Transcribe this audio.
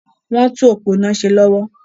Wọ́n ń tún òpó iná ṣe lọ́wọ́.